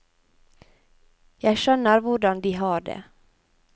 Jeg skjønner hvordan de har det.